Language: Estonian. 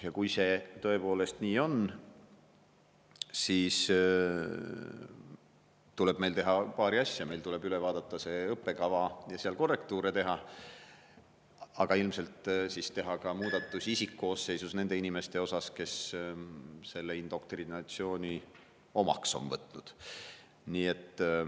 Kui see tõepoolest nii on, siis tuleb meil teha paari asja: meil tuleb üle vaadata õppekava ja seal korrektuure teha, aga ilmselt tuleb teha ka muudatus isikkoosseisus nende inimeste osas, kes selle indoktrinatsiooni omaks on võtnud.